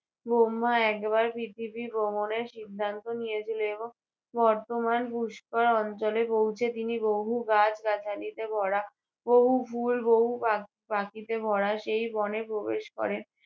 বহ্মা একবার প্রথিবী ভ্রমণের সিদ্ধান্ত নিয়েছিল এবং বর্তমান পুষ্কর অঞ্চলে পৌঁছে তিনি বহু গাছ গাছালিতে, ভরা বহু ফুল, বহু পা~ পাখিতে ভরা সেই বনে প্রবেশ করেন।